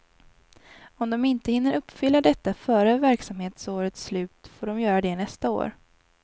Om de inte hinner uppfylla detta före verksamhetsårets slut får de göra det nästa år.